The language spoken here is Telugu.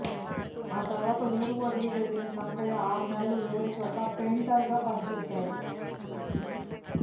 ఆ తర్వాత ఊరు వదిలి వెళ్లిన కనకయ్య ఆర్నెల్లు వేరేచోట పెయింటర్గా పనిచేశాడు